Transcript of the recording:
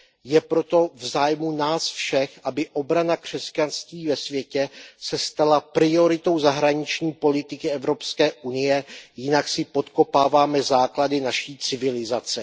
Je proto v zájmu nás všech, aby obrana křesťanství ve světě se stala prioritou zahraniční politiky Evropské unie, jinak si podkopáváme základy naší civilizace.